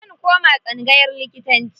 Zan koma tsangayar likitanci.